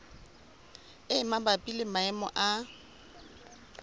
e mabapi le maemo a